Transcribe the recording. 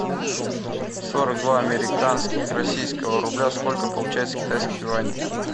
сорок два американских российского рубля сколько получается китайских юаней